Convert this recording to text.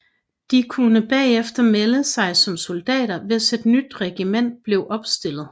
De kunne bagefter melde sig som soldater hvis et nyt regiment blev opstillet